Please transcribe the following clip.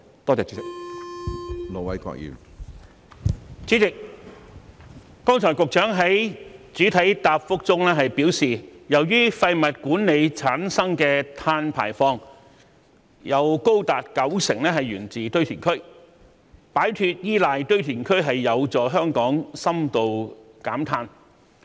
主席，局長剛才在主體答覆中表示，由於廢物管理產生的碳排放有高達九成源自堆填區，擺脫依賴堆填區有助香港深度減碳。